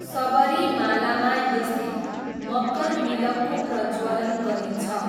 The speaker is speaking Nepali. सबरीमालामा यस दिन मकरविलक्कू प्रज्वलन गरिन्छ।